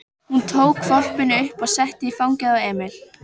Hún tók hvolpinn upp og setti í fangið á Emil.